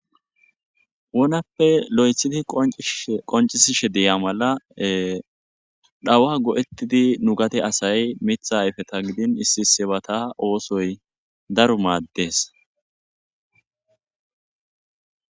wonappe lo7ethidi qoncisishe deya mala dhawa go7ettidi nu gate asay mitha ayfeta gidin issi sebata oosoy daru maaddes